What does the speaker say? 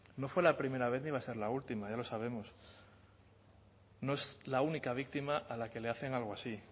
no fue la primera vez ni va a ser la última ya lo sabemos no es la única víctima a la que le hacen algo así